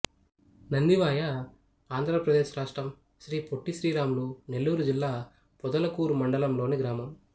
నందివాయ ఆంధ్ర ప్రదేశ్ రాష్ట్రం శ్రీ పొట్టి శ్రీరాములు నెల్లూరు జిల్లా పొదలకూరు మండలం లోని గ్రామం